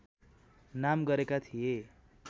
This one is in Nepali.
नाम गरेका थिए